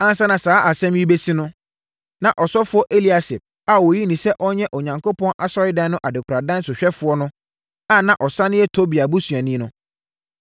Ansa na saa asɛm yi rebɛsi no, na ɔsɔfoɔ Eliasib a wɔyii no sɛ ɔnyɛ Onyankopɔn Asɔredan no adekoradan sohwɛfoɔ no a na ɔsane yɛ Tobia busuani no,